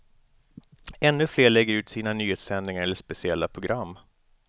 Ännu fler lägger ut sina nyhetssändningar eller speciella program.